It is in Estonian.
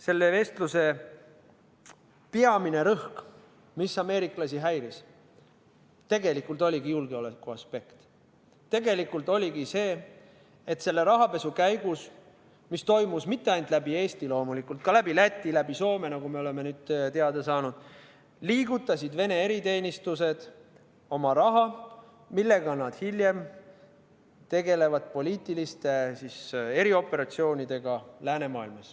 Selle vestluse peamine rõhk, mis ameeriklasi häiris, tegelikult oligi julgeolekuaspekt: see, et selle rahapesu käigus, mis toimus mitte ainult läbi Eesti, vaid loomulikult ka läbi Läti, läbi Soome, nagu me oleme teada saanud, liigutasid Vene eriteenistused oma raha, millega nad hiljem tegelevad poliitiliste erioperatsioonidega läänemaailmas.